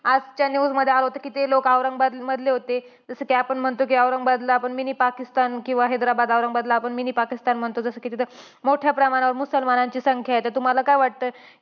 आजच्या news मध्ये आलं होतं, कि जे लोकं औरंगाबाद मधले होते. जसं कि आपण म्हणतो कि औरंगाबादला mini पाकिस्तान किंवा हैद्राबाद, औरंगाबादला आपण mini पाकिस्तान म्हणतो. जसं कि तिथं मोठ्या प्रमाणावर मुसलमानांची संख्या आहे. तर तुम्हांला काय वाटतं?